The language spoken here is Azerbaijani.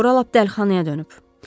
Bura lap dəlixanaya dönüb.